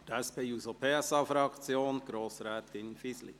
Für die SP-JUSO-PSA-Fraktion: Grossrätin Fisli.